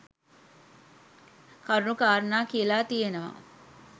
කරුණු කාරණා කියලා තියෙනවා.